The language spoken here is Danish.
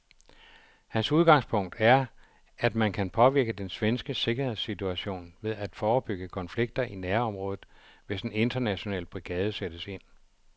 Hans udgangspunkt er, at man kan påvirke den svenske sikkerhedssituation ved at forebygge konflikter i nærområdet, hvis en international brigade sættes ind.